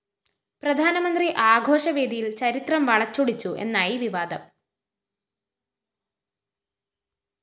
പ്രധാനമന്ത്രി ആഘോഷവേദിയില്‍ ചരിത്രം വളച്ചൊടിച്ചു എന്നായി വിവാദം